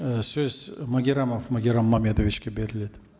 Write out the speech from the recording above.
ы сөз магеррамов магеррам мамедовичке беріледі